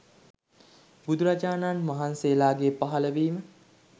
බුදුරජාණන් වහන්සේලාගේ පහළවීම